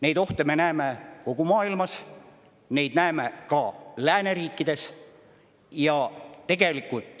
Neid ohte me näeme kogu maailmas, neid näeme ka lääneriikides.